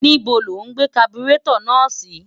ní́bo lo gbé kaburétọ̀ náà sí?